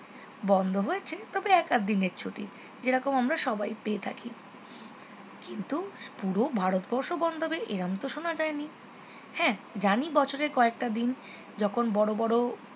বন্ধ হয়েছে তবে এক আধ দিনের ছুটি যেরকম আমরা সবাই পেয়ে থাকি কিন্তু পুরো ভারতবর্ষ বন্ধ হবে এরকম তো শোনা যায়নি হ্যাঁ জানি বছরের কয়েকটা দিন যখন বড়ো বড়ো